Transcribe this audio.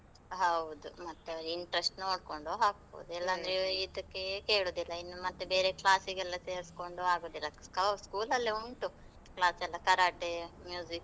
ಹೌದು, ಮತ್ತೆ ಅವ್ರ interest ನೋಡ್ಕೊಂಡು ಹಾಕ್ಬಹುದು, ಇಲ್ಲಾಂದ್ರೆ ಇದ್ಕೇ ಕೇಳುದಿಲ್ಲ, ಇನ್ನು ಮತ್ತೆ ಬೇರೆ class ಗೆಲ್ಲಾ ಸೆರ್ಸ್ಕೊಂಡು ಆಗುದಿಲ್ಲ, ಸ್ school ಅಲ್ಲೆ ಉಂಟು, class ಎಲ್ಲಾ , Karate, .